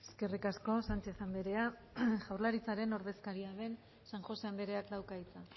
eskerrik asko sánchez andrea jaurlaritzaren ordezkaria den san josé andreak dauka hitza